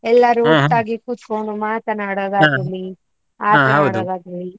ಎಲ್ಲರೂ ಕುತ್ಕೊಂಡು ಮಾತನಾಡುದು .